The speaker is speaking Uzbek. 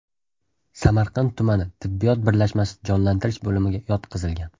Samarqand tumani tibbiyot birlashmasi jonlantirish bo‘limiga yotqizilgan.